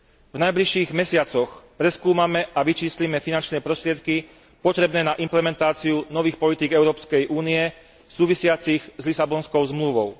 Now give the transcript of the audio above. V najbližších mesiacoch preskúmame a vyčíslime finančné prostriedky potrebné na implementáciu nových politík Európskej únie súvisiacich s Lisabonskou zmluvou.